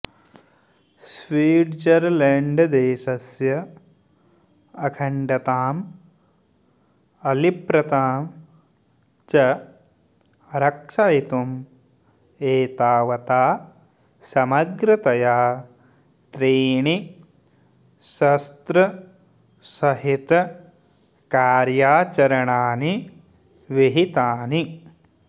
स्विट्झर्ल्याण्ड्देशस्य अखण्डताम् अलिप्रतां च रक्षयितुं एतावता समग्रतया त्रीणि शस्त्रसहितकार्याचरणानि विहितानि